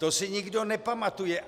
To si nikdo nepamatuje.